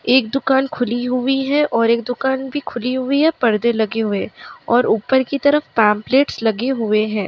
एक दुकान खुली हुई है और एक दुकान भी खुली हुई है पर्दे लगे हुए हैं और ऊपर की तरफ पम्पलेट्स लगे हुए हैं ।